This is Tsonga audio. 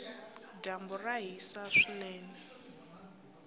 dyambu ra hisa swinene